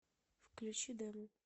включи демо